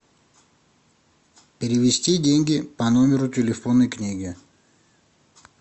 перевести деньги по номеру телефонной книги